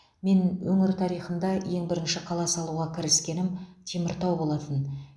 мен өңір тарихында ең бірінші қала салуға кіріскенім теміртау болатын